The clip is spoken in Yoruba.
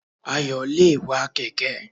Ayò le è wa kèké